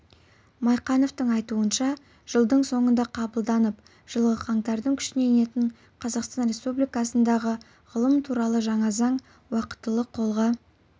майқановтың айтуынша жылдың соңында қабылданып жылғы қаңтардың күшіне енетін қазақстан республикасындағы ғылым туралы жаңа заң уақтылы қолға